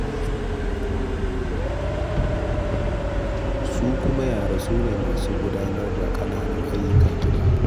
Su kuma yara, su ne masu gudanar da ƙananan ayyukan gida.